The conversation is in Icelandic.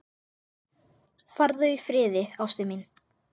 Farðu í friði, ástin mín.